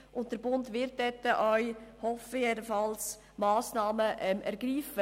Der Bund wird dort auch Massnahmen ergreifen.